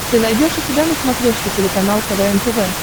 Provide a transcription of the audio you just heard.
ты найдешь у себя на смотрешке телеканал квн тв